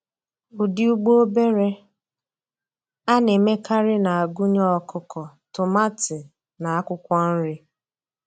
Ụdị ugbo obere a na-emekarị na-agụnye ọkụkọ, tomati, na akwụkwọ nri.